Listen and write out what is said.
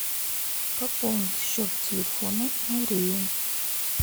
пополнить счет телефона марии